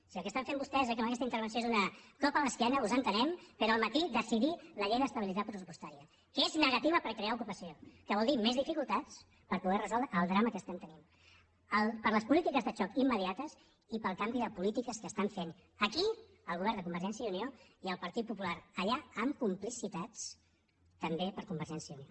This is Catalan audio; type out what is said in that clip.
si el que estan fent vostès amb aquesta intervenció és un cop a l’esquena us entenem però al matí decidir la llei d’estabilitat pressupostària que és negativa per crear ocupació que vol dir més dificultats per poder resoldre el drama que estem tenint per les polítiques de xoc immediates i pel canvi de polítiques que estan fent aquí el govern de convergència i unió i el partit popular allà amb complicitats també de convergència i unió